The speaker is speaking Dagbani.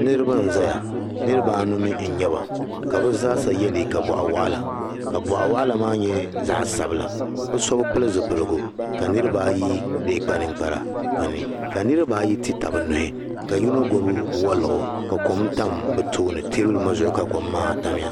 Niriba n zaya niriba anu mi n nyɛba ka bɛ zaasa ye liika bɔɣi waɣila ka bɔɣawaɣola maa zaɣi sabila bɛ so bɛ pili zipligu ka niriba ayi alee kpa ninkparaka niriba ayi ti tabi nuhi ka yino gbubi waliɣu ka kom tam bɛ tooni teebuli ŋɔ zuɣu ka kom maa tamya